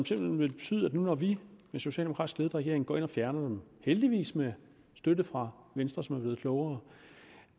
simpelt hen betyde nu hvor vi i den socialdemokratisk ledede regering går ind og fjerner dem heldigvis med støtte fra venstre som er blevet klogere